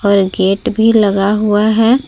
पर गेट भी लगा हुआ है।